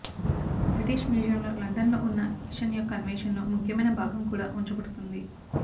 British మ్యూజియంలో లండన్లో ఉన్న కిషన్ యొక్క అన్వేషణలో ముఖ్యమైన భాగం కూడా ఉంచబడుతుంది